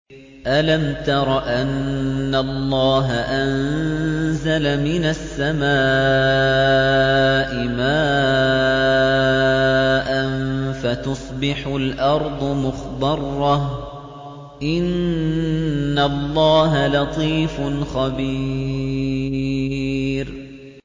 أَلَمْ تَرَ أَنَّ اللَّهَ أَنزَلَ مِنَ السَّمَاءِ مَاءً فَتُصْبِحُ الْأَرْضُ مُخْضَرَّةً ۗ إِنَّ اللَّهَ لَطِيفٌ خَبِيرٌ